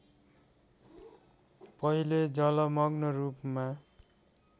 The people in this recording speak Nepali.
पहिले जलमग्न रूपमा